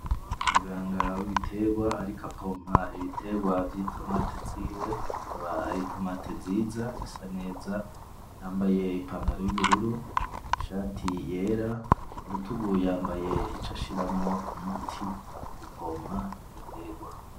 Muganga w'ibitegwa ariko apompa ibitegwa vy'itomati ziwe, akaba ari itomati nziza zisa neza, yambaye ipantaro y'ubururu; ishati yera; kurutugu yambaye ico ashiramwo umuti w'ugupompa ibitegwa.